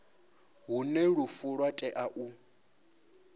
hune lufu lwa tea u